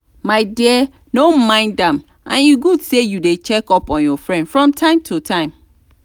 my dear no mind am and e good say you dey check up on your friend from time to time